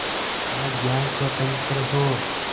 जहाँ ज्ञान स्वतन्त्र हो